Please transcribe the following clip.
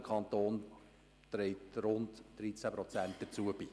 der Kanton trägt gut 13 Prozent dazu bei.